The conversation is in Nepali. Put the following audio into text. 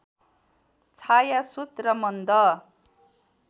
छायासुत र मन्द